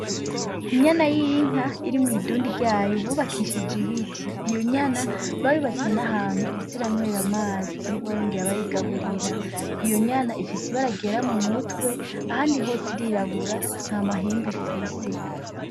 Inyama y'inka iri mw'indundi yayo bubakishije ibiti, iyo nyana bayubakiye n'ahantu iza iranywera amazi bongere bayigaburira, iyo nyana ifise ibara ryera m'umutwe ahandi hose irirabura nt'amahembe ifise.